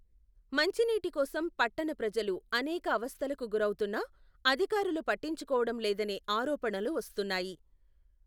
మంచినీటి కోసం పట్టణ ప్రజలు, అనేక అవస్థలకు గురౌతున్నా, అధికారులు పట్టించుకోవడం లేదనె ఆరోపణలు వస్తున్నాయి.